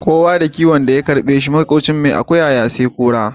Kowa da kiyon da ya karbe shi, makwafcin mai akuya ya sai kura.